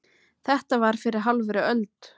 Þetta var fyrir hálfri öld.